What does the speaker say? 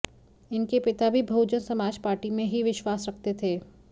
इनके पिता भी बहुजन समाज पार्टी में ही विश्वास रखते थे